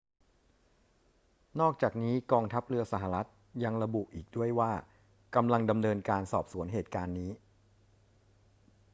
นอกจากนี้ กองทัพเรือสหรัฐฯ ยังระบุอีกด้วยว่ากำลังดำเนินการสอบสวนเหตุการณ์นี้